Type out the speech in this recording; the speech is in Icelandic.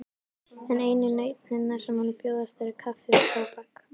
En einu nautnirnar sem honum bjóðast eru kaffi og tóbak.